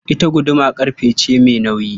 Ita guduma ƙarfe ce mai nauyi.